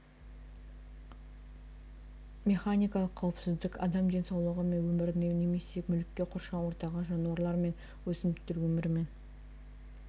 механикалық қауіпсіздік адам денсаулығы мен өміріне немесе мүлікке қоршаған ортаға жануарлар мен өсімдіктер өмірі мен